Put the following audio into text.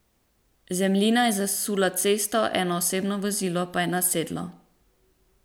Zemljina je zasula cesto, eno osebno vozilo pa je nasedlo.